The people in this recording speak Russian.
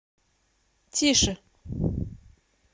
тише